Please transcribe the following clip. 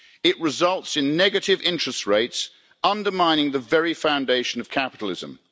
It results in negative interest rates, undermining the very foundation of capitalism.